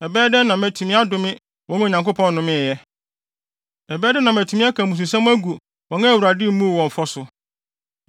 Ɛbɛyɛ dɛn na matumi adome wɔn a Onyankopɔn nnome ɛ? Ɛbɛyɛ dɛn na matumi aka mmususɛm agu wɔn a Awurade mmuu wɔn fɔ so?